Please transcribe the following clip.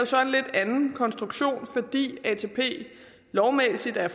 så en lidt anden konstruktion fordi atp lovmæssigt er